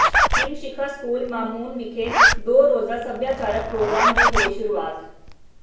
Himshikha school Mamoon ਵਿਖੇ ਦੋ ਰੋਜ਼ਾ ਸਭਿਆਚਾਰਕ ਪ੍ਰੋਗਰਾਮ ਦੀ ਹੋਈ ਸ਼ੁਰੂਆਤ